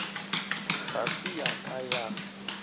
ga se ya ka ya